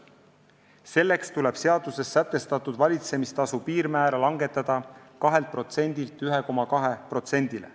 Selleks tuleb seaduses sätestatud valitsemistasu piirmäära langetada 2%-lt 1,2%-le.